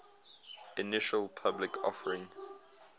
initial public offering